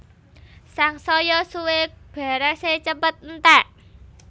Sangsaya suwé berasé cepet enték